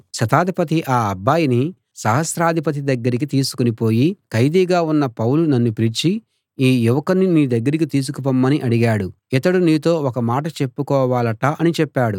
శతాధిపతి ఆ అబ్బాయిని సహస్రాధిపతి దగ్గరికి తీసుకుని పోయి ఖైదీగా ఉన్న పౌలు నన్ను పిలిచి ఈ యువకుణ్ణి నీ దగ్గరికి తీసుకుపొమ్మని అడిగాడు ఇతడు నీతో ఒక మాట చెప్పుకోవాలట అని చెప్పాడు